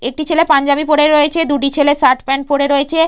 একটি ছেলে পাঞ্জাবি পরে রয়েছে দুটি ছেলে শার্ট প্যান্ট পরে রয়েছে।